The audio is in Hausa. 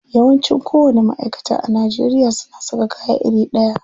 Yawanci kowanni ma'aikata a Najeriya suna saka kaya iri ɗaya.